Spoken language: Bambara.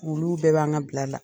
Olu bɛɛ b'an ka bila la.